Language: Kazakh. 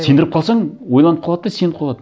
сендіріп қалсаң ойланып қалады да сеніп қалады